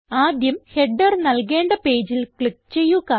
ആദ്യം ഹെഡർ നൽകേണ്ട പേജിൽ ക്ലിക്ക് ചെയ്യുക